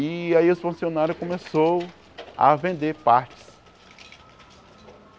E aí os funcionário começou a vender partes.